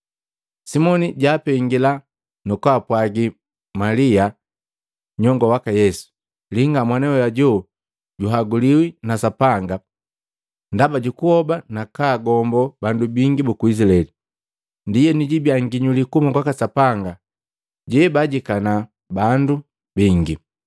Simoni jwaapengila, nukumpwagi Malia, nyongo waka Yesu, “Linga, mwana we hoju juhaguliwi na Sapanga ndaba jukuhoba nakaagombo bandu bingi buku Izilaeli. Ndienu jiibia nginyuli kuhuma kwaka Sapanga, jebaajikana bandu bingi.